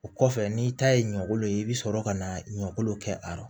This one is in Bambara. O kɔfɛ n'i ta ye ɲɔkolo ye i bi sɔrɔ ka na ɲɔkolo kɛ a la